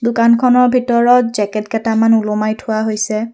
দোকানখনৰ ভিতৰত জেকেট কেইটামান ওলোমাই থোৱা হৈছে।